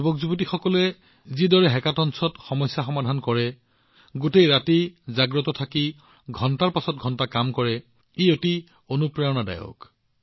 আমাৰ যুৱকযুৱতীসকলে যিদৰে হেকাথনত সমস্যা সমাধান কৰে গোটেই নিশা সাৰে থাকি ঘণ্টাজুৰি কাম কৰে সেয়া অতিশয় অনুপ্ৰেৰণাদায়ক